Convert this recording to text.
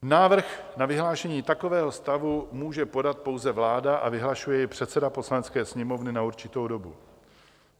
Návrh na vyhlášení takového stavu může podat pouze vláda a vyhlašuje jej předseda Poslanecké sněmovny na určitou dobu.